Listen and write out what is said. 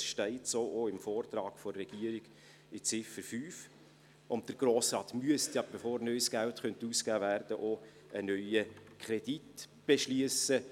Das steht auch so im Vortrag der Regierung, in Ziffer 5, und der Grosse Rat müsste ja, bevor neues Geld ausgegeben werden könnte, auch einen neuen Kredit beschliessen.